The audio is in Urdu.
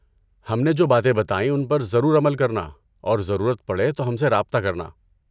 ہم نے جو باتیں بتائیں ان پر ضرور عمل کرنا اور ضرورت پڑے تو ہم سے رابطہ کرنا۔